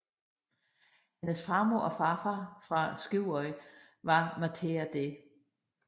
Hendes farmor og farfar fra Skúvoy var Mathea D